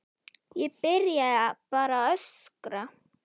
Ég byrjaði bara að öskra.